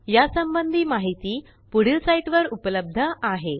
या संबंधी माहिती पुढील साईटवर उपलब्ध आहे